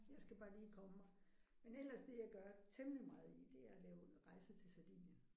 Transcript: Jeg skal bare lige komme mig. Men ellers det jeg gør temmelig meget i det er at lave rejser til Sardinien